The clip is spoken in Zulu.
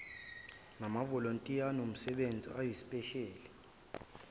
namavolontiya anomsebenzi oyisipesheli